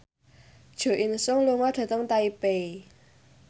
Jo In Sung lunga dhateng Taipei